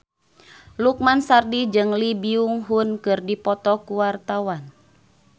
Lukman Sardi jeung Lee Byung Hun keur dipoto ku wartawan